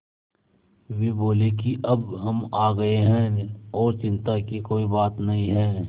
वे बोले कि अब हम आ गए हैं और चिन्ता की कोई बात नहीं है